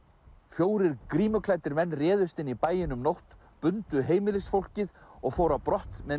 fjórir menn réðust inn í bæinn um nótt bundu heimilisfólkið og fóru á brott með